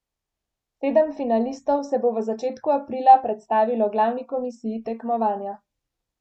Sedem finalistov se bo v začetku aprila predstavilo glavni komisiji tekmovanja.